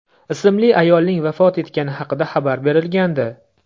ismli ayolning vafot etgani haqida xabar berilgandi.